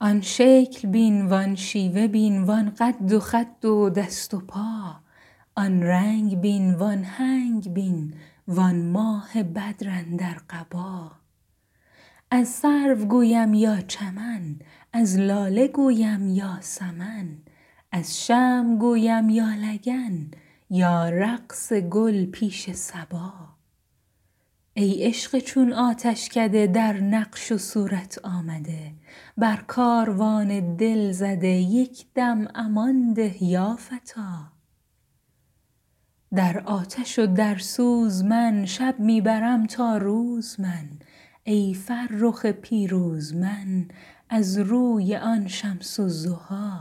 آن شکل بین وان شیوه بین وان قد و خد و دست و پا آن رنگ بین وان هنگ بین وان ماه بدر اندر قبا از سرو گویم یا چمن از لاله گویم یا سمن از شمع گویم یا لگن یا رقص گل پیش صبا ای عشق چون آتشکده در نقش و صورت آمده بر کاروان دل زده یک دم امان ده یا فتی در آتش و در سوز من شب می برم تا روز من ای فرخ پیروز من از روی آن شمس الضحی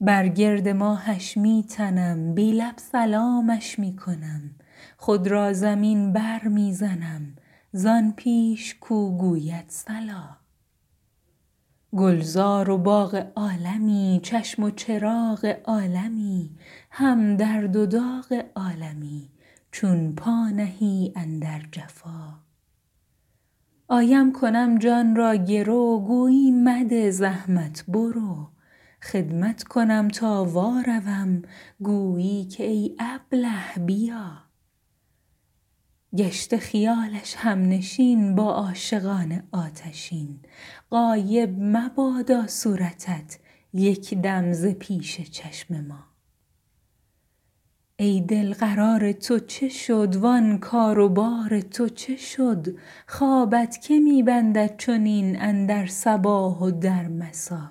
بر گرد ماهش می تنم بی لب سلامش می کنم خود را زمین برمی زنم زان پیش کو گوید صلا گلزار و باغ عالمی چشم و چراغ عالمی هم درد و داغ عالمی چون پا نهی اندر جفا آیم کنم جان را گرو گویی مده زحمت برو خدمت کنم تا واروم گویی که ای ابله بیا گشته خیال همنشین با عاشقان آتشین غایب مبادا صورتت یک دم ز پیش چشم ما ای دل قرار تو چه شد وان کار و بار تو چه شد خوابت که می بندد چنین اندر صباح و در مسا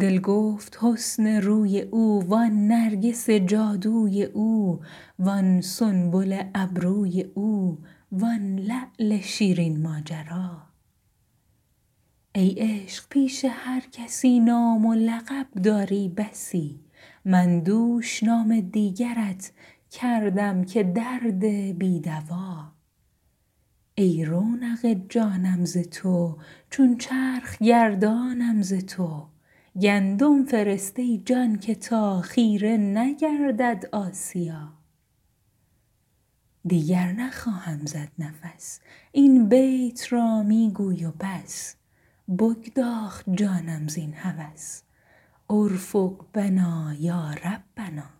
دل گفت حسن روی او وان نرگس جادوی او وان سنبل ابروی او وان لعل شیرین ماجرا ای عشق پیش هر کسی نام و لقب داری بسی من دوش نام دیگرت کردم که درد بی دوا ای رونق جانم ز تو چون چرخ گردانم ز تو گندم فرست ای جان که تا خیره نگردد آسیا دیگر نخواهم زد نفس این بیت را می گوی و بس بگداخت جانم زین هوس ارفق بنا یا ربنا